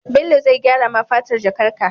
Bello zai gyara ma fatar jakar ka